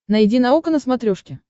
найди наука на смотрешке